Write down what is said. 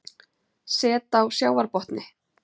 Set á sjávarbotni